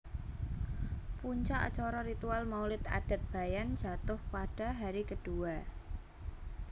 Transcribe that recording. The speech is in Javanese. Puncak Acara Ritual Maulid Adat Bayan Jatuh Pada Hari Kedua